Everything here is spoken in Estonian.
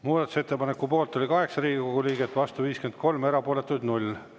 Muudatusettepaneku poolt oli 8 Riigikogu liiget, vastu 53, erapooletuid 0.